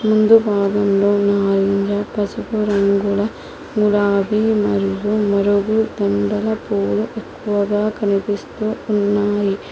ముందు భాగంలో ఉన్న ఆరంజ పసుపు రంగుల గులాబీ మరియు మరుగు దుండులు పువ్వులు ఎక్కువగా కనిపిస్తూ ఉన్నాయి.